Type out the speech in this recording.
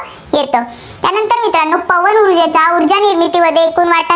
येतं. त्यानंतर मित्रांनो पवन ऊर्जेचा ऊर्जा निर्मितीमध्ये एकूण वाटा